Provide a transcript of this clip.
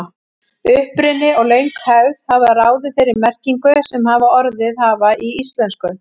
Uppruni og löng hefð hafa ráðið þeirri merkingu sem orðin hafa í íslensku.